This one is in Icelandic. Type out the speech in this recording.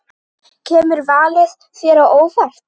Kemur valið þér á óvart?